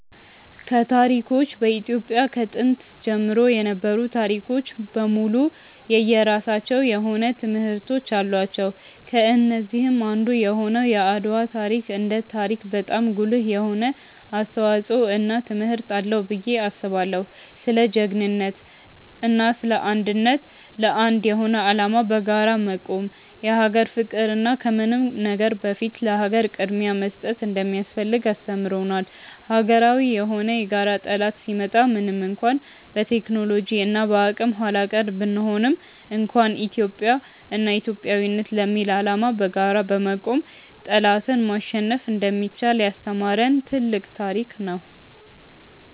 ከታሪኮች በኢትዮጵያ ከጥንት ጀምሮ የነበሩ ታሪኮች በሙሉ የየራሳቸው የሆነ ትምህርቶች አላቸው። ከነዚህም አንዱ የሆነው የአድዋ ታሪክ እንደ ታሪክ በጣም ጉልህ የሆነ አስተዋጽዖ እና ትምህርት አለው ብዬ አስባለው። ስለ ጅግንነት እና ስለ አንድነት፣ ለአንድ የሆነ አላማ በጋራ መቆም፣ የሀገር ፍቅር እና ከምንም ነገር በፊት ለሀገር ቅድምያ መስጠት እንደሚያስፈልግ አስተምሮናል። ሀገራዊ የሆነ የጋራ ጠላት ሲመጣ ምንም እንኳን በቴክኖሎጂ እና በአቅም ኃላቀር ብንሆንም እንኳን ኢትዮጵያ እና ኢትዮጵያዊነት ለሚል አላማ በጋራ በመቆም ጠላትን ማሸነፍ እንደሚቻል ያስተማሪን ትልቅ ታሪክ ነው።